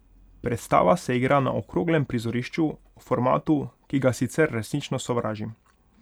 Predstava se igra na okroglem prizorišču, formatu, ki ga sicer resnično sovražim.